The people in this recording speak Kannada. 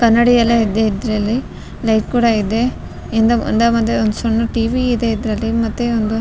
ಕನ್ನಡಿಯಲ್ಲ ಇದೆ ಇದ್ರಲ್ಲಿ ಲೈಟ್ ಕೂಡ ಇದೆ ಹಿಂದ ಮತ್ತೆ ಸಣ್ಣ್ ಟಿ.ವಿ ಇದೆ ಇದ್ರಲ್ಲಿ ಮತ್ತೆ ಒಂದು --